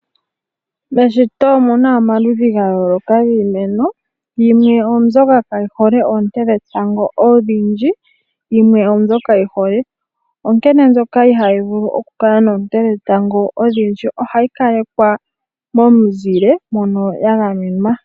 Meshito omuna omaludhi ga yooloka giimeno. Yimwe oyo mbyoka kaa yihole oonte dhe tango odhindji, yimwe oyo mbyo yi hole. Onkene mbyoka ihaa yi vulu oku kala mounted dhe tango odhindji, ohayi ka lekwa momuzile mono ya ga menwa.